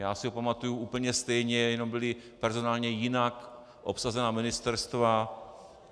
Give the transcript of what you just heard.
Já si ho pamatuji úplně stejně, jenom byla personálně jinak obsazená ministerstva.